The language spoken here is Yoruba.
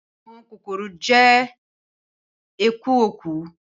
Awon kokoro je eku oku.